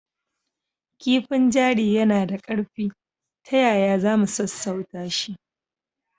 Kifin jari yana da ƙarfi. Ta yaya za mu sassauta shi?